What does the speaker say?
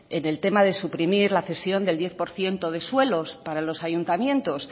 en el tema de suprimir la cesión del diez por ciento de suelos para los ayuntamientos